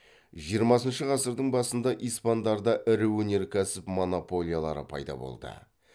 жиырмасыншы ғасырдың басында испандарда ірі өнеркәсіп монополиялары пайда болды